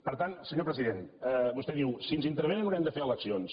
per tant senyor president vostè diu si ens intervenen haurem de fer eleccions